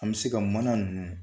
An bɛ se ka mana nunnu